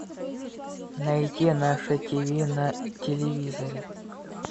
найди наше тиви на телевизоре